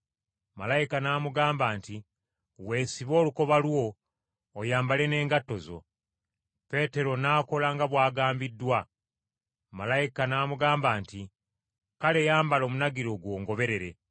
Malayika n’amugamba nti, “Weesibe olukoba lwo, oyambale n’engatto zo.” Peetero n’akola nga bw’agambiddwa. Malayika n’amugamba nti, “Kale, yambala omunagiro gwo ongoberere.”